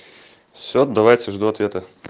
всё давайте жду ответа